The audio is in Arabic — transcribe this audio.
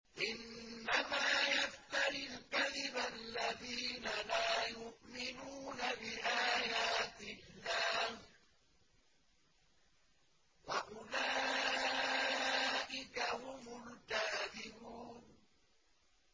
إِنَّمَا يَفْتَرِي الْكَذِبَ الَّذِينَ لَا يُؤْمِنُونَ بِآيَاتِ اللَّهِ ۖ وَأُولَٰئِكَ هُمُ الْكَاذِبُونَ